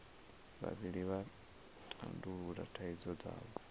vhavhili vha tandulula thaidzo dzavho